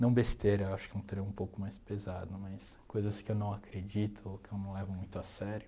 Não besteira, acho que é um termo um pouco mais pesado, mas coisas que eu não acredito ou que eu não levo muito a sério.